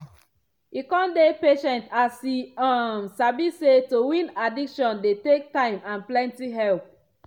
e con dey patient as e um sabi say to win addiction dey take time and plenty help.